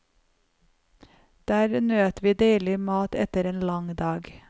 Der nøt vi deilig mat etter en lang dag.